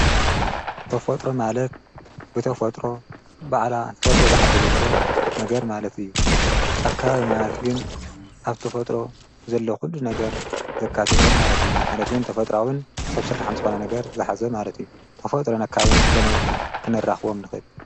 ተፈጥሮ ማለት ብተፈጥሮ ባዕላ ተፈጥሮ ዝዓደለቶ ነገር ማለት እዩ፡፡ ኣካባቢ ማእት ግን ኣብ ተፈጥሮ ዘሎ ዂሉ ነገር ዘካተተ ማለት እዩ፡፡ ማለት ውን ተፈጥራኣውን ሰብ ስራሕን ዝኾነ ነገር ዝሓዘ ማለት እዩ፡፡ ተፈጥሮ ኣከባብን ከመይ ክነራኽቦም ንኽልእል?